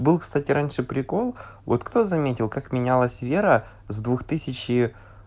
был кстати раньше прикол вот кто заметил как менялась вера с двух тысячи